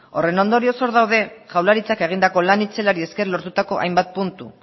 horren ondorioz hor daude jaurlaritzak egindako lan itzelari esker lortutako hainbat puntu